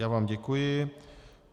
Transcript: Já vám děkuji.